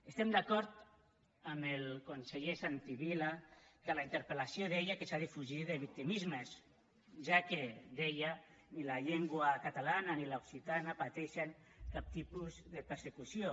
estem d’acord amb el conseller santi vila que en la interpel·lació deia que s’ha de fugir de victimismes ja que deia ni la llengua catalana ni l’occitana pateixen cap tipus de persecució